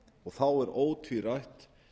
og þá er ótvírætt